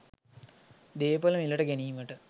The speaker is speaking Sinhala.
දේපළ මිලට ගැනීමට